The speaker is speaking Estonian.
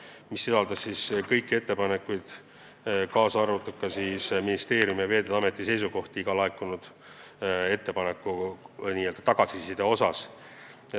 See sisaldas peale ettepanekute ka ministeeriumi ja Veeteede Ameti seisukohti iga laekunud ettepaneku kohta.